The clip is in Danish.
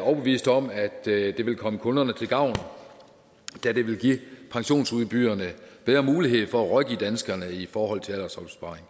overbevist om at det vil komme kunderne til gavn da det vil give pensionsudbyderne bedre mulighed for at rådgive danskerne i forhold til aldersopsparing